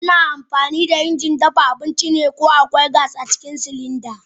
Ana amfani da injin dafa abinci ne kawai idan akwai iskar gas a cikin silinda.